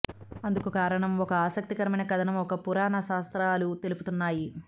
అందుకు కారణంగా ఒక ఆసక్తికరమైన కథనం ఒకటి పురాణ శాస్త్రాలు తెలుపుతున్నాయి